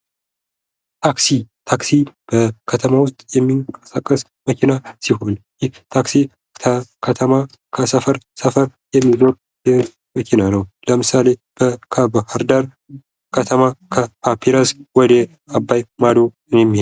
ታክሲ፦ ታክሲ በከተማው ውስጥ የሚንቀሳቀስ መኪና ሲሆን ይህ ታክሲ በከተማ ከሰፈር ሰፈር የሚንቀሳቀስ መኪና ነው ለምሳሌ በባህር ዳር ከተማ ከፓፒረስ ወደ አባይ ማዶ የሚሄድ